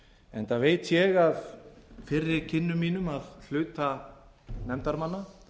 enda veit ég af fyrri kynnum mínum af hluta nefndarmanna